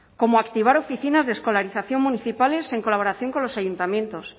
como activar oficinas de escolarización municipales en colaboración con los ayuntamientos